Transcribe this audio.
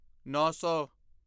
ਨੌਂ ਸੌ